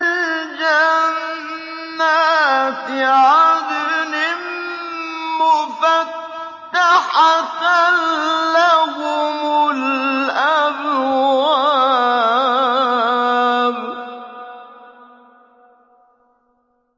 جَنَّاتِ عَدْنٍ مُّفَتَّحَةً لَّهُمُ الْأَبْوَابُ